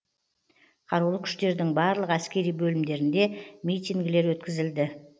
қарулы күштердің барлық әскери бөлімдерінде митингілер өткізілді